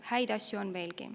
Häid asju on veelgi.